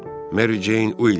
Meri Ceyn Uilks.